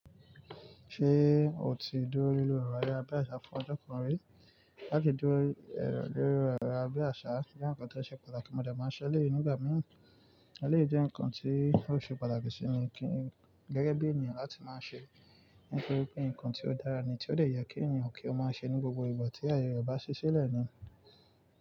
Ṣé o ti dúró lílò ìròyìn abẹ́ àṣá fún ọjọ́ kan rí? Láti dúró lílò ìròyìn abẹ́ àṣá jẹ́ nǹkan tó ṣe pàtàkì mọdé máa ń ṣe eleyií nìgbà mìí. Ẹléyìí jẹ́ nǹkan tí óò ṣe pàtàkì sí kin gẹ́gẹ́ bí ènìyàn láti máa ń ṣe nítorí pé nǹkan tí ó dára ni tí ó dè ye kí ènìyàn kí ó máa ṣe ní gbogbo ìgbà tí ayẹre bá ṣí sílẹ̀ ni.